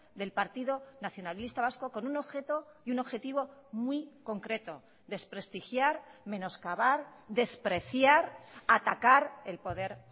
del partido nacionalista vasco con un objeto y un objetivo muy concreto desprestigiar menoscabar despreciar atacar el poder